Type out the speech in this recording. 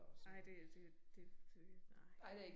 Nej det jo det det det nej